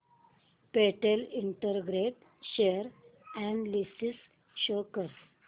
Patel integrate share analysis show कर